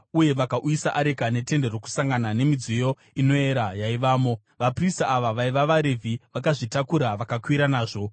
uye vakauyisa areka neTende Rokusangana nemidziyo inoyera yaivamo. Vaprista ava vaiva vaRevhi vakazvitakura vakakwira nazvo;